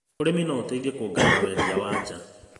ũrĩmi no ũteithie kuongerera wendia wa nja.